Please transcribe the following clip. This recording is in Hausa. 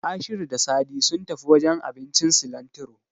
Ashiru da Sadi sun tafi wajen abincin Silantiro.